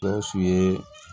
Gawusu ye